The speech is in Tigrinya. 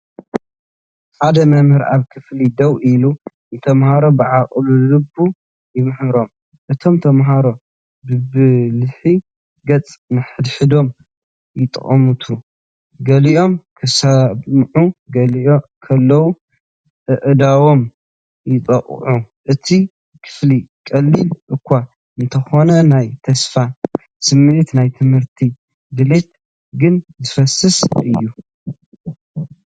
ሓደ መምህር ኣብ ክፍሊ ደው ኢሉ ንተማሃሮ ብኣቓልቦ ይምህሮም። እቶም ተማሃሮ ብብልሒ ገጽ ንሓድሕዶም ይጥምቱ፣ ገሊኦም ክሰምዑ ከለዉ ኣእዳዎም የጣቕዑ። እቲ ክፍሊ ቀሊል እኳ እንተኾነ፡ ናይ ተስፋ ስምዒትን ናይ ትምህርቲ ድሌትን ግን ዝፈስስ እዩ።